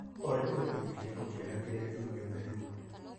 Olĩ nĩ gĩbindi kĩrĩkũ kĩega kĩrĩa kĩumĩte rĩu